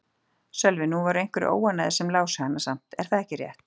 Sölvi: Nú voru einhverjir óánægðir sem lásu hana samt, er það ekki rétt?